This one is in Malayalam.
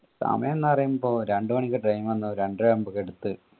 സമയംന്ന് പറയുമ്പോ രണ്ട് മണിക്ക് വന്ന് രണ്ടര ആവുമ്പൊ എട്ത്